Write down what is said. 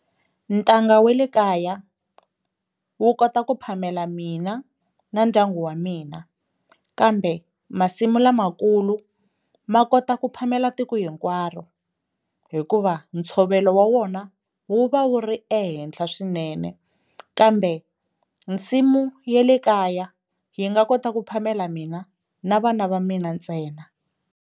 Ntanga we le kaya wu kota ku phamela mina na ndyangu wa mina, kambe masimu lamakulu ma kota ku phamela tiko hinkwaro hikuva ntshovelo wa wona wu va wu ri ehenhla swinene, kambe nsimu ye le kaya yi nga kota ku phamela mina na vana va mina ntsena.